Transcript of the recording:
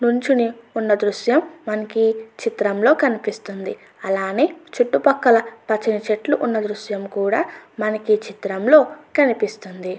నించుని ఉన్న దృశ్యం మనకి ఈ చిత్రంలో కనిపిస్తుంది అలానే చుట్టుపక్కల పచ్చని చెట్లు ఉన్న దృశ్యం కూడా మనకి ఈ చిత్రంలో కనిపిస్తుంది.